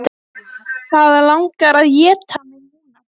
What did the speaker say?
Það langar að éta mig núna.